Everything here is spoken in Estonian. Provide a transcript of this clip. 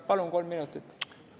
Palun kolm minutit!